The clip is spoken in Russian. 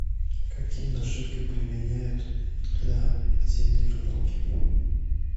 какие наживки применяют для зимней рыбалки